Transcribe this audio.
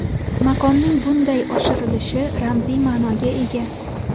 Maqomning bunday oshirilishi ramziy ma’noga ega.